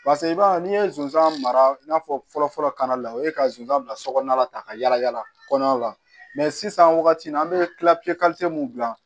i b'a ye n'i ye zonzan mara i n'a fɔ fɔlɔ fɔlɔ kana la o ye ka zonzan bila so kɔnɔna la tan ka yala yala kɔnɔnaw la sisan wagati min na an be kila kite mun dilan